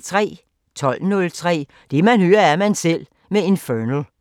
12:03: Det man hører, er man selv med Infernal